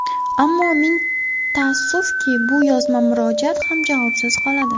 Ammo ming taassufki, bu yozma murojaat ham javobsiz qoladi.